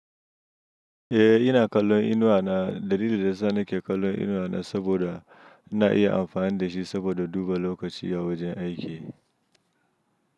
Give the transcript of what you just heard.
Eh ina kallon Inuwa na. Dalilin da ya sa nake kallon Inuwa na saboda na iya amfani da shi saboda duba lokaci a wajen aiki.